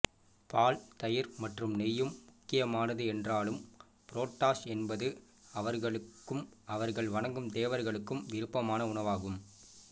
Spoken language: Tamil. பால் தயிர் மற்றும் நெய்யும் முக்கியமானது என்றாலும் புரோடாஷ் என்பது அவர்களுக்கும் அவர்கள் வணங்கும் தேவர்களுக்கும் விருப்பமான உணவாகும்